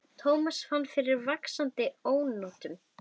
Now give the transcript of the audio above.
Thomas fann fyrir vaxandi ónotum.